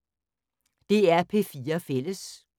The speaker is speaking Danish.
DR P4 Fælles